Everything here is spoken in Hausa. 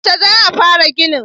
Yaushe za a fara gini?